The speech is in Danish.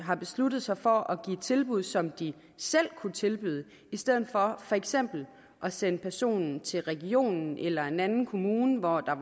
har besluttet sig for at give tilbud som de selv kan tilbyde i stedet for for eksempel at sende personen til regionen eller en anden kommune hvor der